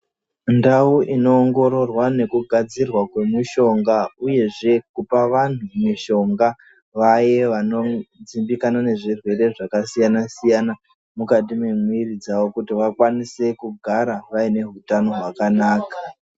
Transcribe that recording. Ndau inoongororwaa nokugadzirwa kwomushonga uyezve kupa vantu mushonga vaye vanozikanwe nezvirwere zvakasiyana-siyana mukati memwiviri dzavo kuti vakwanise kugara vaine hutano hwakanaka.